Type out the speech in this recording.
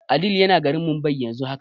Adeel yana garin Mumbai yanzu haka.